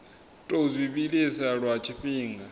tou zwi vhilisa lwa tshifhinga